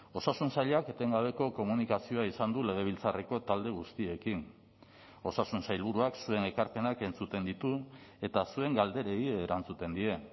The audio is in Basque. osasun sailak etengabeko komunikazioa izan du legebiltzarreko talde guztiekin osasun sailburuak zuen ekarpenak entzuten ditu eta zuen galderei erantzuten die